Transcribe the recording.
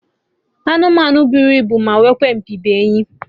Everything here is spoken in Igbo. Anụmanụ bụrụ ibu ma nwekwa opi bụ enyi